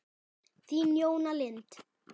Þín, Jóna Lind.